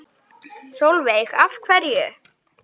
Sólveig: Af hverju?